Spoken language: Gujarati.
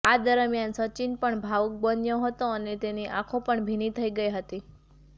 આ દરમિયાન સચિન પણ ભાવુક બન્યો હતો અને તેની આંખો પણ ભીની થઈ ગઈ હતી